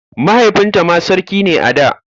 Mahaifinta ma sarki ne a da.